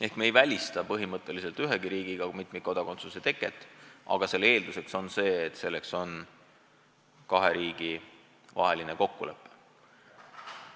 Seega me ei välista põhimõtteliselt ühegi riigiga mitmikkodakondsuse tunnustamist, aga selle eeldus on, et on sõlmitud kahe riigi vaheline kokkulepe.